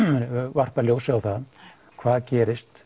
varpað ljósi á það hvað gerist